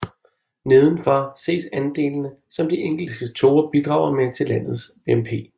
Nedenfor ses andelene som de enkelte sektorer bidrager med til landet BNP